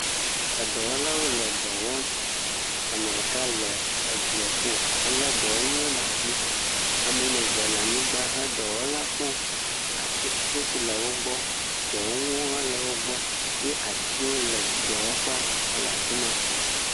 Edɔwɔlawo le dɔ wɔm, ame ɖeka le edzieƒo helé dɔwɔnuwo le asi, ame woame ve le anyigba he dɔwɔla kpɔm, ati, tsɛtsi le wo gbɔ, dɔwɔnuwo hã le wo gbɔ ye atiwo le dɔwɔƒea hele afi ma.